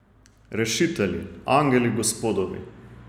Rešitelji, angeli Gospodovi.